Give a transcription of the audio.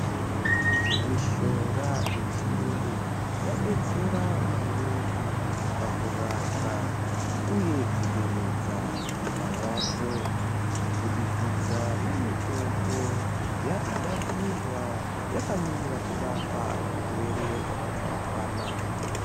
Mishonga yechiyungu yadetsera maningi pakurapwa uye kuderedza marwadzo kubudikidza nemitombo yaakugadzirwa yakamirira kurapa zvirwere zvakatsaukana.